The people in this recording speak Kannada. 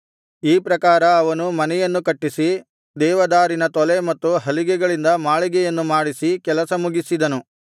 ಈ ಪ್ರಕಾರ ಅವನು ಮನೆಯನ್ನು ಕಟ್ಟಿಸಿ ದೇವದಾರಿನ ತೊಲೆ ಮತ್ತು ಹಲಿಗೆಗಳಿಂದ ಮಾಳಿಗೆಯನ್ನು ಮಾಡಿಸಿ ಕೆಲಸ ಮುಗಿಸಿದನು